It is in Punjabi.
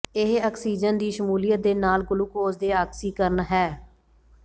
ਇਹ ਆਕਸੀਜਨ ਦੀ ਸ਼ਮੂਲੀਅਤ ਦੇ ਨਾਲ ਗਲੂਕੋਜ਼ ਦੇ ਆਕਸੀਕਰਨ ਹੈ